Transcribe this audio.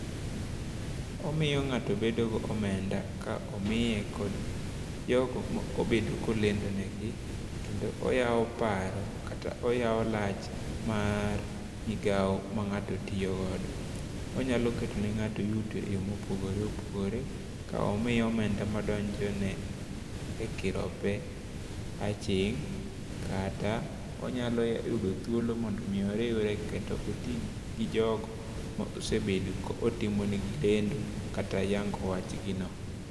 Omiyo ng'ato bedo gomenda komiye kod jogo mobedo kolendo ne gi kendo oyawo paro kata oyawo lach mar migawo ma ng'ato tiyo godo. Onyalo keto ne ng'ato yuto e yooo mopogore opogore komiye omenda madonjone e kirope aching' kata, onyalo yudo thuolo mondo mi oriwre kata otii gi jogo ma osebedo kotimo ne gi lendo kata yango wach gi no.